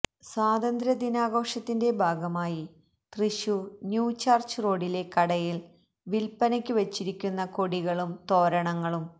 സ്വാതന്ത്ര്യ ദിനാഘോഷത്തിൻ്റെ ഭാഗമായി തൃശൂർ ന്യൂ ചർച്ച് റോഡിലെ കടയിൽ വില്പനക്കു വെച്ചിരിക്കുന്ന കൊടികളും തോരണങ്ങളും